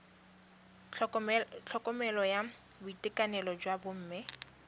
tlhokomelo ya boitekanelo jwa bomme